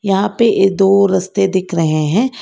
यहां पे ये दो रस्ते दिख रहे हैं।